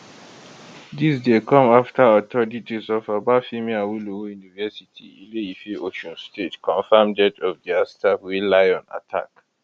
dis dey come afta authorities of obafemi awolowo university ileife osun state confam death of dia staff wey lion attack